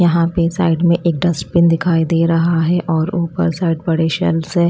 यहां पे साइड में एक डस्टबिन दिखाई दे रहा है और ऊपर साइड बड़े शेल्व्स है।